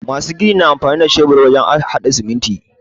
Masu gini na amfani da shebur wajen haɗa sumunti tare.